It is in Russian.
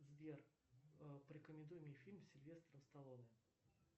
сбер порекомендуй мне фильм с сильвестром сталлоне